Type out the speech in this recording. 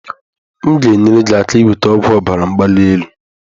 M ga-enyere gị aka inweta ọgwụ ọbara mgbali elu.